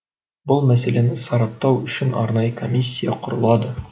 бұл мәселені сараптау үшін арнайы комиссия құрылады